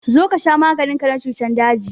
Zo ka sha maganin ka na cutan daji!